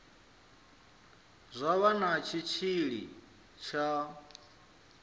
zwa vha na tshitshili tsha